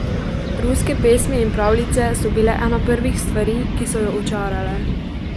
Ruske pesmi in pravljice so bile ena prvih svari, ki so jo očarale.